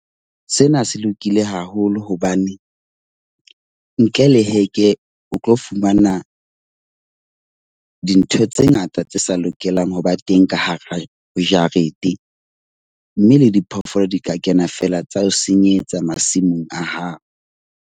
Sena se lokile haholo hobane ntle le heke, o tlo fumana dintho tse ngata tse sa lokelang ho ba teng ka hara jarete. Mme le diphoofolo di ka kena feela tsa o senyetsa masimong a hao.